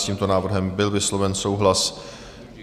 S tímto návrhem byl vysloven souhlas.